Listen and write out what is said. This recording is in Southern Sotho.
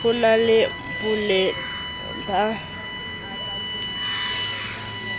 ho na le boleng ba